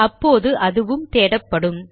அப்போது அதுவும் தேடப்படும்